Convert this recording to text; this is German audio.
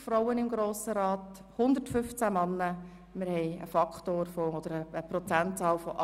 Das ergibt einen Faktor von 18 Prozent Frauen.